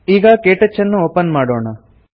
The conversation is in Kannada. ಈಗ ಕೇಟಚ್ ಅನ್ನು ಒಪನ್ ಮಾಡೋಣ